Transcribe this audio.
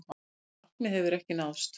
Það markmið hefur ekki náðst.